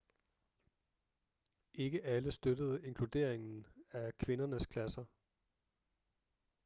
ikke alle støttede inkluderingen af kvindernes klasser